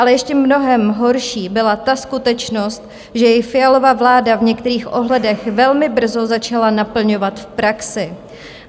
Ale ještě mnohem horší byla ta skutečnost, že je Fialova vláda v některých ohledech velmi brzo začala naplňovat v praxi.